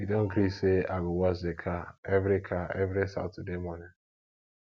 we don gree sey i go wash di car every car every saturday morning